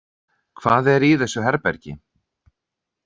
Hvað er í þessu herbergi?